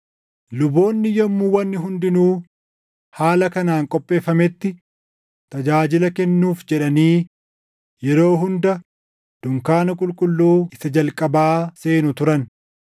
Luboonni yommuu wanni hundinuu haala kanaan qopheeffametti tajaajila kennuuf jedhanii yeroo hunda dunkaana qulqulluu isa jalqabaa seenu turan.